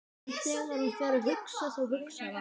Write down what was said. En þegar hann fer að hugsa, þá hugsar hann